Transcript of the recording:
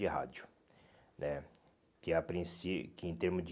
e rádio né, que a princí que em termo de